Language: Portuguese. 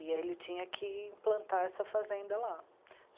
E ele tinha que implantar essa fazenda lá.